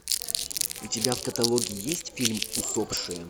у тебя в каталоге есть фильм усопшие